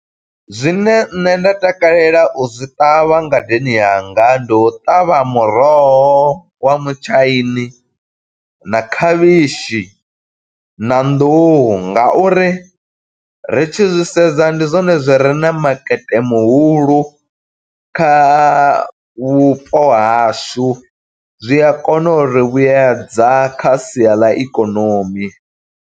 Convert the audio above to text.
Zwine nṋe nda takalela u zwi ṱavha ngadeni yanga. Ndi u ṱavha muroho wa mutshaini, na khavhishi, na nḓuhu. Nga uri ri tshi zwi sedza, ndi zwone zwi re na makete muhulu kha vhupo hashu. Zwi a kona uri vhuyedza kha sia ḽa ikonomi.